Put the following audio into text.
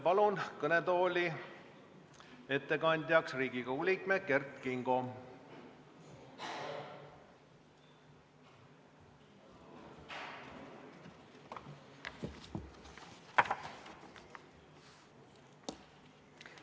Palun kõnetooli ettekandjaks Riigikogu liikme Kert Kingo!